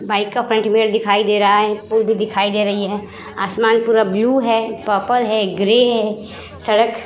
bike का front mirror दिखाई दे रहा है पूल भी दिखाई दे रही है आसमान पूरा ब्लू है पर्पल है ग्रे है सड़क --